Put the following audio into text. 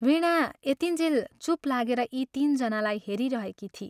" वीणा यतिञ्जेल चूप लागेर यी तीन जनालाई हेरिरहेकी थिई।